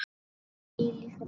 Hvíl í friði.